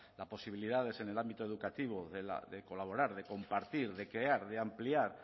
las posibilidades en el ámbito educativo de colaborar de compartir de crear de ampliar